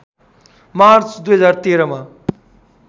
March २०१३ मा